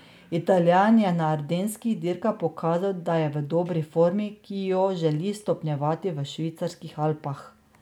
Italijan je na ardenskih dirkah pokazal, da je v dobri formi, ki jo želi stopnjevati v švicarskih Alpah.